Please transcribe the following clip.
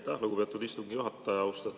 Aitäh, lugupeetud istungi juhataja!